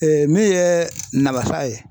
min ye namasa ye